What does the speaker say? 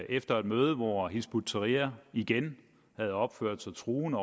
efter et møde hvor hizb ut tahrir igen havde opført sig truende